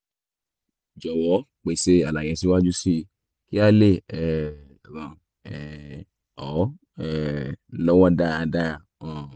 jọ̀wọ́ pèsè àlàyé síwájú síi kí a le um ràn um ọ́ um ọ́ lọ́wọ́ dáradára um